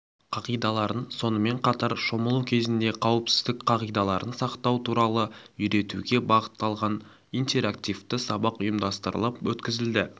қағидаларын сонымен қатар шомылу кезінде қауіпсіздік қағидаларын сақтау туралы үйретуге бағытталған интерактивті сабақ ұйымдастырылып өткізілді